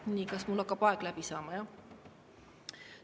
Nii, kas mul hakkab aeg läbi saama, jah?